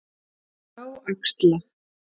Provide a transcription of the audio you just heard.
Þá axla